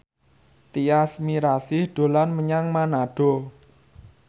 Tyas Mirasih dolan menyang Manado